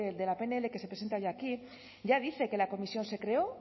de la pnl que se presenta hoy aquí ya dice que la comisión se creó